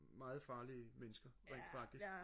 meget farlige mennesker rent faktisk